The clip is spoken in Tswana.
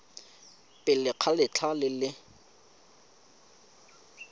pele ga letlha le le